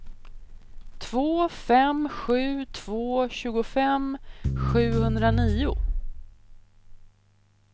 två fem sju två tjugofem sjuhundranio